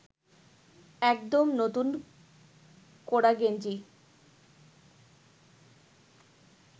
একদম নূতন কোরা গেঞ্জি